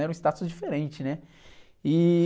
Era um status diferente, né? E...